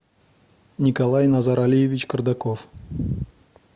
николай назаралиевич кардаков